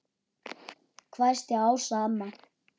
hvæsti Ása amma.